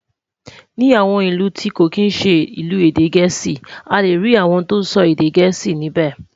Ní àwọn ìlù tí kò kín ṣé ilu èdè gèésì, a lẹ rí àwòn tó sọ èdè gèésì níbè